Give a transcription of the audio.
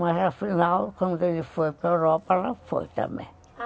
Mas afinal, quando ele foi para a Europa, ela foi também.